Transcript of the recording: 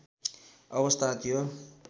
अवस्था थियो